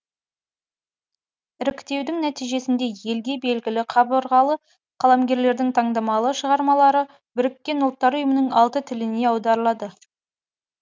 іріктеудің нәтижесінде елге белгілі қабырғалы қаламгерлердің таңдамалы шығармалары біріккен ұлттар ұйымының алты тіліне аударылады